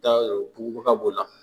b'o la